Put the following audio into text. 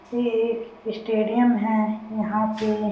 ये एक स्टेडिम है यहाँ पे--